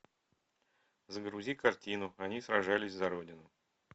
загрузи картину они сражались за родину